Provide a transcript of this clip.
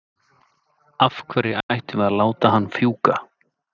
Af hverju ættum við að láta hann fjúka?